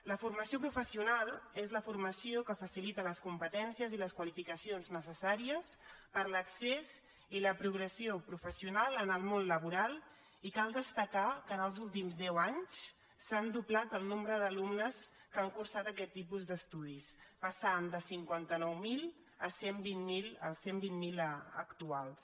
la formació professional és la formació que facilita les competències i les qualificacions necessàries per a l’accés i la progressió professional en el món labo·ral i cal destacar que els últims deu anys s’ha doblat el nombre d’alumnes que han cursat aquest tipus d’es·tudis que han passat de cinquanta nou mil als cent i vint miler actuals